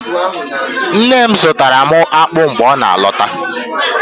Nne m zụtara m akpụ mgbe ọ na-alọta